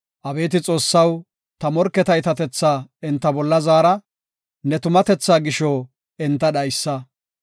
Abeeti Xoossaw, ta morketa iitatethaa enta bolla zaara; ne tumatethaa gisho enta dhaysa.